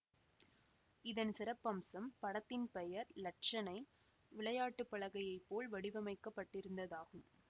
இதன் சிறப்பம்சம் படத்தின் பெயர் இலட்சனை விளையாட்டு பலகையைப் போல் வடிவமைக்கப்பட்டிருந்ததாகும்